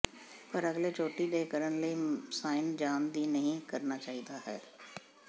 ਪਰ ਅਗਲੇ ਚੋਟੀ ਦੇ ਕਰਨ ਲਈ ਸਾਈਨ ਜਾਣ ਦੀ ਨਹੀ ਕਰਨਾ ਚਾਹੀਦਾ ਹੈ